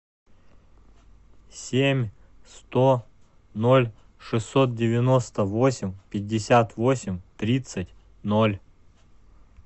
семь сто ноль шестьсот девяносто восемь пятьдесят восемь тридцать ноль